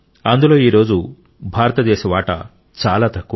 అందులో ఈరోజు భారతదేశ వాటా చాలా తక్కువ